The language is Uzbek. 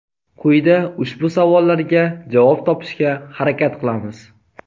Quyida ushbu savollarga javob topishga harakat qilamiz.